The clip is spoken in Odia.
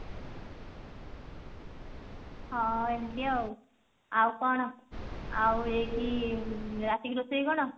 ହଁ ଏମତି ଆଉ ଆଉ କଣ ଆଉ ଏଠି ରାତିକି ରୋଷେଇ କଣ